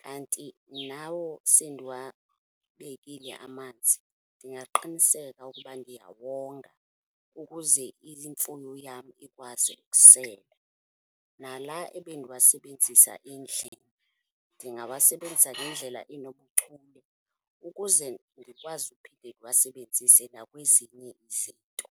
Kanti nawo sendiwabekile amanzi ndingaqiniseka ukuba ndiyawonga ukuze imfuyo yam ikwazi ukusela. Nala ebendiwasebenzisa endlini ndingawasebenzisa ngendlela enobuchule ukuze ndikwazi uphinde ndiwasebenzise nakwezinye izinto.